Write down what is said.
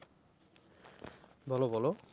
বলো বলো।